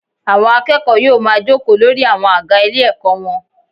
Àwọn akẹ́kọ̀ọ́ yóò ma jókòó lórí àwọn àga ilé ẹ̀kọ́ wọn.